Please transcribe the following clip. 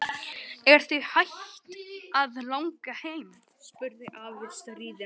Er þig hætt að langa heim? spurði afi stríðinn.